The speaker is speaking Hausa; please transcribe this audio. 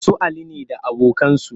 Su Ali ne da abokansu